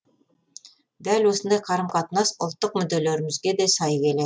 дәл осындай қарым қатынас ұлттық мүдделерімізге де сай келеді